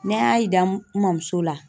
Ne y'a yira n mɔmuso la.